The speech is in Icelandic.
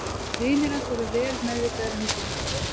Vinir hans voru vel meðvitaðir um þetta vandamál.